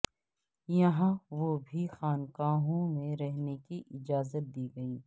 یہاں وہ بھی خانقاہوں میں رکھنے کی اجازت دی گئی